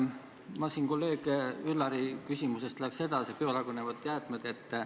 Ma lähen edasi kolleeg Üllari küsimusest: biolagunevad jäätmed.